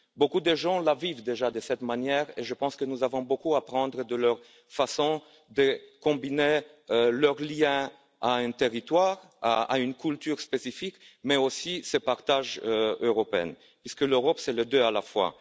Beaucoup de gens la vivent déjà de cette manière et je pense que nous avons beaucoup à apprendre de leur façon de combiner leurs liens à un territoire et à une culture spécifique mais aussi de ce partage européen puisque l'Europe, c'est les deux à la fois.